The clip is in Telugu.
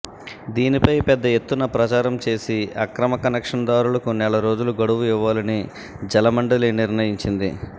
దీనిపై పెద్ద ఎత్తున ప్రచారం చేసిఆక్రమ కనెక్షన్ దారులకు నెలరోజుల గడువు ఇవ్వాలని జలమం డలి నిర్ణయించింది